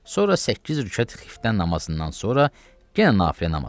Sonra səkkiz rükət xiftə namazından sonra yenə nafilə namazıdır.